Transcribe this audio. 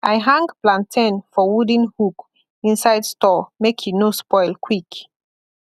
i hang plantain for wooden hook inside store make e no spoil quick